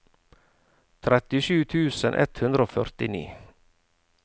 trettisju tusen ett hundre og førtini